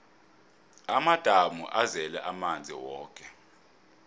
amadamu azele amanzi woke